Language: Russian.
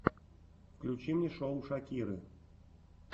включи мне шоу шакиры